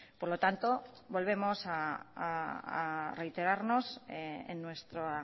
por lo tanto volvemos a reiterarnos en nuestra